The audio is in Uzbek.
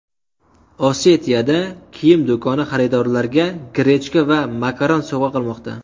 Osetiyada kiyim do‘koni xaridorlarga grechka va makaron sovg‘a qilmoqda.